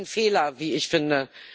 Ein Fehler, wie ich finde.